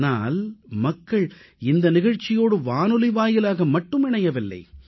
ஆனால் மக்கள் இந்த நிகழ்ச்சியோடு வானொலி வாயிலாக மட்டுமே இணையவில்லை